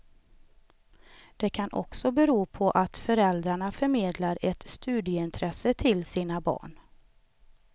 Det kan också bero på att föräldrarna förmedlar ett studieintresse till sina barn.